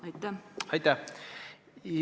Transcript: Aitäh!